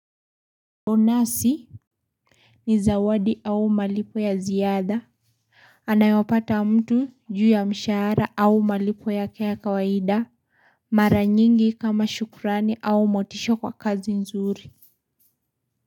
Onasi ni zawadi au malipo ya ziada. Anayopata mtu juu ya mshahara au malipo yake ya kawaida. Mara nyingi kama shukrani au motisha kwa kazi nzuri.